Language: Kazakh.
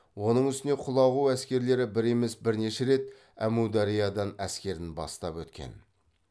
оның үстіне құлағу әскерлері бір емес бірнеше рет әмудариядан әскерін бастап өткен